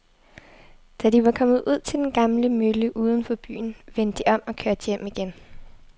Da de var kommet ud til den gamle mølle uden for byen, vendte de om og kørte hjem igen.